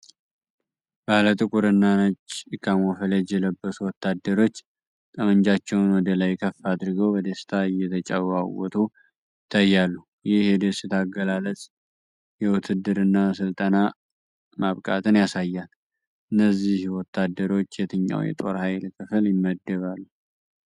ባለ ጥቁር እና ነጭ ካሞፍላዥ የለበሱ ወታደሮች ጠመንጃቸውን ወደ ላይ ከፍ አድርገው በደስታ እየተጨዋወቱ ይታያሉ። ይህ የደስታ አገላለጽ የውትድርና ሥልጠና ማብቃትን ያሳያል። እነዚህ ወታደሮች የትኛው የጦር ኃይል ክፍል ይመደባሉ?